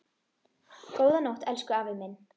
Góða nótt, elsku afi minn.